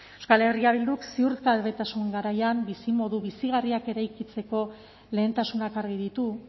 euskal herria bilduk ziurgabetasun garaian bizimodu bizigarriak eraikitzeko lehentasunak argi ditu